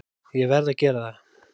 Ég verð að gera það!